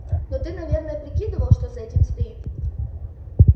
но ты наверное прикидывал что за этим стоит